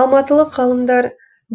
алматылық ғалымдар